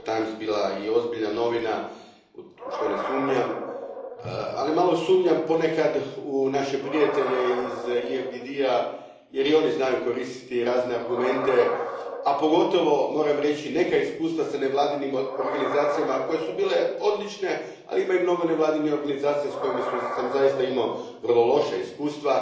bila i ozbiljna novina, u što ne sumnjam, ali malo sumnjam ponekad u naše prijatelje iz EFDD a jer i oni znaju koristiti razne argumente, a pogotovo, moram reći, neka iskustva s nevladinim organizacijama koje su bile odlične, ali ima i mnogo nevladinih organizacija s kojima sam zaista imao vrlo loša iskustva.